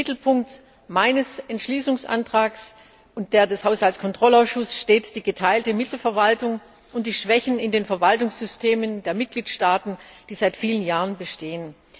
Im Mittelpunkt meines Entschließungsantrags und dessen des Haushaltskontrollausschusses stehen die geteilte Mittelverwaltung und die Schwächen in den Verwaltungssystemen der Mitgliedstaaten, die seit vielen Jahren bestehen.